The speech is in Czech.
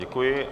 Děkuji.